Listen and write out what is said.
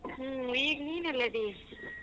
ಹ್ಮ್ ಈಗ್ ನೀನ್ ಎಲ್ಲದಿ?